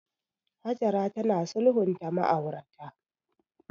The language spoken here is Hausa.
Hajara tana sulhunta ma'aurata.